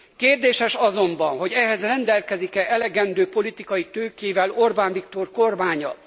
Kérdéses azonban, hogy ehhez rendelkezik e elegendő politikai tőkével Orbán Viktor kormánya.